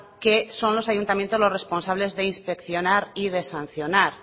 que son los ayuntamientos los responsables de inspeccionar y de sancionar